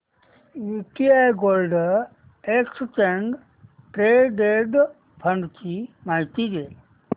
UTI gold exchange traded fund ची माहिती दे